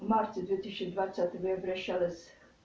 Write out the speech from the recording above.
в марте две тысячи двадцатого я обращалась